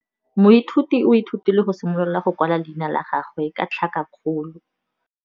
Moithuti o ithutile go simolola go kwala leina la gagwe ka tlhakakgolo.